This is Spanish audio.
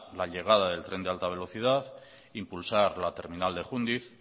la llegada del tren de alta velocidad impulsar la terminal de jundiz